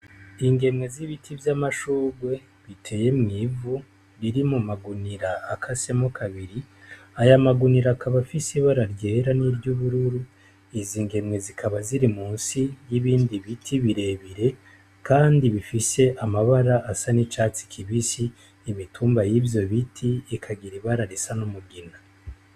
Ingemwe z'ibiti vy'amashurwe biteye mw'ivu riri mu magunira akasemo kabiri aya magunira akabafise ibararyera n'iryo urururu izo ingemwe zikaba ziri mu si y'ibindi biti birebire, kandi bifise amabara asa n'icatsi kibisi imitumba y'ivyo biti i ikagira ibararisa n’umugina.